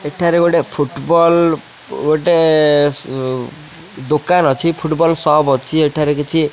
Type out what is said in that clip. ଏଠାରେ ଗୋଟେ ଫୁଟବଲ ଦୋକାନ ଅଛି ଫୁଟବଲ୍ ଶପ୍ ଅଛି ଏଠାରେ କିଛି।